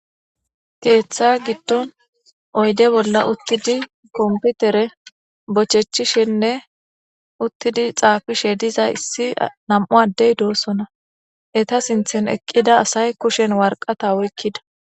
Keeththa giddon uuttidii kompitere bochechishenne diza issi nam'u addey dosonna eetta sinththen eqqida asay kushshen waraqata oyqida